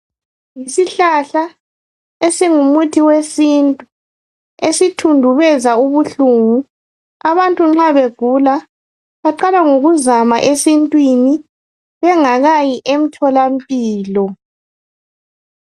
Isihlahla esingumuthi wesintu, esithundubeza ubuhlungu, abantu nxa begula, baqala ngokuzama esintwini, bengakayi emtholampilo.